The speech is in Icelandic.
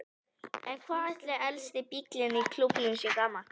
En hvað ætli elsti bíllinn í klúbbnum sé gamall?